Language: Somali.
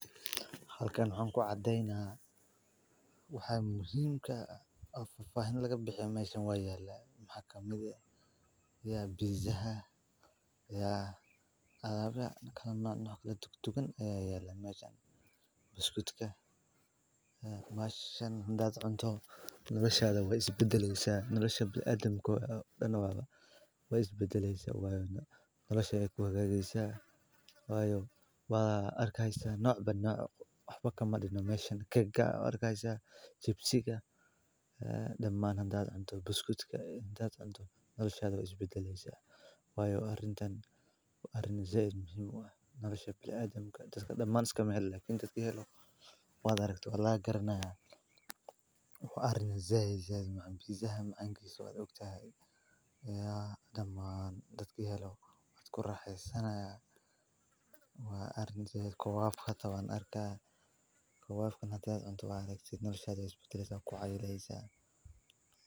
Halka waxan ku cadeynaya cuntada oo fafahin laga bixiya oo pizaa ah Cuntadu waa mid ka mid ah waxyaabaha ugu muhiimsan ee nolosha aadanaha, waxayna si toos ah u saameysaa caafimaadka, tamarta iyo nolosha maalinlaha ah. Cuntadu waxay ka kooban tahay qaybaha nafaqo ee kala duwan sida borotiinka, karbohaydraytyada, dufanka, fiitamiinada iyo macdanta, kuwaas oo jirka ka caawiya koritaanka, ilaalinta caafimaadka iyo shaqeynta xubnaha kala duwan. Waxaa jira cuntooyin kala duwan sida hilibka, kalluunka, khudaarta, miraha, caanaha iyo dalagyada sida bariiska iyo galleyda oo dhammaantood door muhiim ah ka ciyaara quudinta jirka.